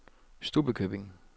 Stubbekøbing